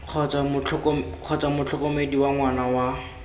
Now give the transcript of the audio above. kgotsa motlhokomedi wa ngwana wa